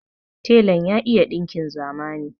Telan ya iya ɗinkin zamani.